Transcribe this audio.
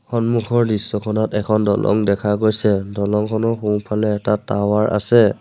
সন্মুখৰ দৃশ্যখনত এখন দলং দেখা গৈছে দলংখনৰ সোঁফালে এটা টাৱাৰ আছে।